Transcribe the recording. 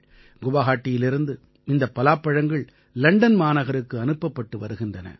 குவாஹாட்டியிலிருந்து இந்தப் பலாப்பழங்கள் லண்டன் மாநகருக்கு அனுப்பப்பட்டு வருகின்றன